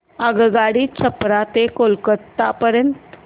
आगगाडी छपरा ते कोलकता पर्यंत